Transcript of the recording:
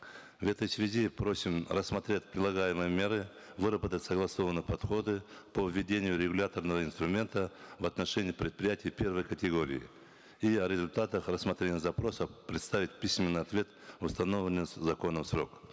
в этой связи просим рассмотреть предлагаемые меры выработать согласованные подходы по введению регуляторного инструмента в отношении преприятий первой категории и о результатах рассмотрения запроса предоставить письменный ответ в установленный законом срок